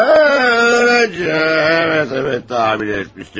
Hə, ə, bəli, bəli, təxmin etmişdim.